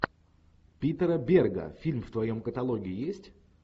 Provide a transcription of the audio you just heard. питера берга фильм в твоем каталоге есть